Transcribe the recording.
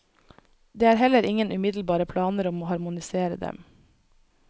Det er heller ingen umiddelbare planer om å harmonisere dem.